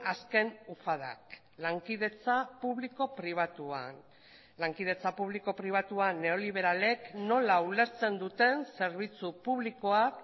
azken ufadak lankidetza publiko pribatuan lankidetza publiko pribatuan neoliberalek nola ulertzen duten zerbitzu publikoak